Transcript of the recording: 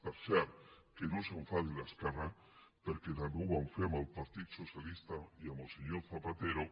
per cert que no s’enfadi l’esquerra perquè també ho van fer amb el partit socialista i amb el senyor zapatero